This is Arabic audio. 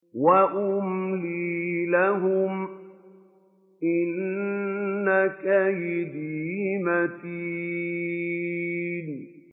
وَأُمْلِي لَهُمْ ۚ إِنَّ كَيْدِي مَتِينٌ